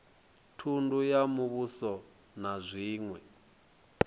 thundu ya muvhuso na zwiṅwe